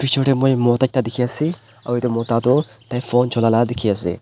Picture dae moi mota ekta dekhe ase aro etu mota tuh tai phone chulai laga dekhe ase.